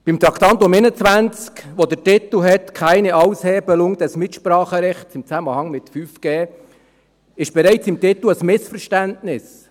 Beim Traktandum 21 , das den Titel «Keine Aushebelung des Mitspracherechts im Zusammenhang mit 5G» trägt, gibt es bereits im Titel ein Missverständnis.